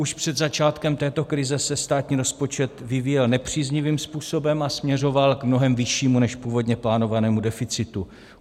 Už před začátkem této krize se státní rozpočet vyvíjel nepříznivým způsobem a směřoval k mnohem vyššímu než původně plánovanému deficitu.